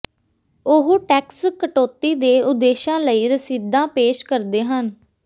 ਉਹ ਟੈਕਸ ਕਟੌਤੀ ਦੇ ਉਦੇਸ਼ਾਂ ਲਈ ਰਸੀਦਾਂ ਪੇਸ਼ ਕਰਦੇ ਹਨ